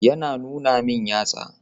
Yana nuna min yatsa.